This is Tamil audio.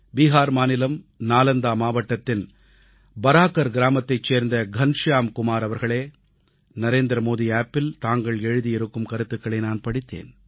பீகார் மாநிலம் நாலந்தா மாவட்டத்தின் ப் பராகர் கிராமத்தைச் சேர்ந்த கன்ஷ்யாம் குமார் அவர்களே நரேந்திரமோடி செயலியில் தாங்கள் எழுதியிருக்கும் கருத்துகளை நான் படித்தேன்